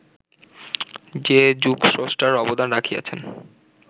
যে যুগস্রষ্টার অবদান রাখিয়াছেন